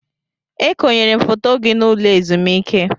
E konyere m foto gị n'ụlọ ezumike.